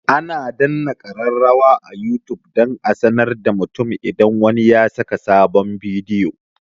Ana danna kararrawa a youtube don a sanar da mutum idan wani ya saka sabon bidiyo